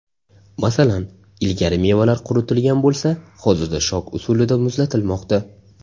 Masalan, ilgari mevalar quritilgan bo‘lsa, hozirda shok usulida muzlatilmoqda.